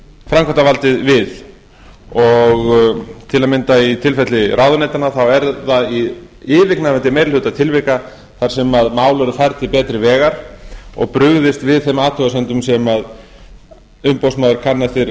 framkvæmdavaldið við tam í tilfelli ráðuneytanna er þetta í yfirgnæfandi meirihluta tilvika þar sem mál eru færð til betri vegar og brugðist við þeim athugasemdum sem umboðsmaður kann